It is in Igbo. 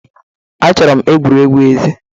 Achọrọ m egwuregwu ezi